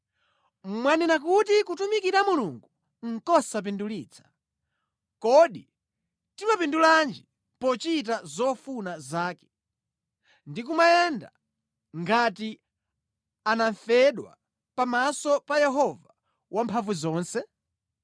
“Mwanena kuti, ‘Kutumikira Mulungu nʼkosapindulitsa. Kodi timapindulanji pochita zofuna zake, ndi kumayenda ngati anamfedwa pamaso pa Yehova Wamphamvuzonse?